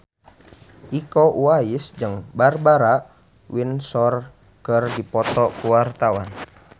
Iko Uwais jeung Barbara Windsor keur dipoto ku wartawan